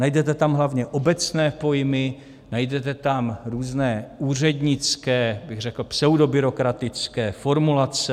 Najdete tam hlavně obecné pojmy, najdete tam různé úřednické, řekl bych pseudobyrokratické formulace.